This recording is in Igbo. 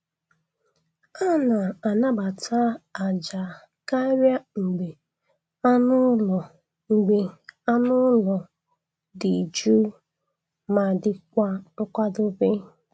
A na-anabata àjà karịa mgbe anụ ụlọ mgbe anụ ụlọ dị jụụ ma dịkwa nkwado.